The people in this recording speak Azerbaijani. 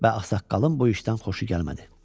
Və ağsaqqalın bu işdən xoşu gəlmədi.